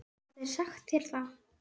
Hafa þeir sagt þér það?